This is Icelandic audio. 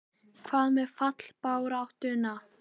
Mér er það skapi næst, hreytti hún útúr sér.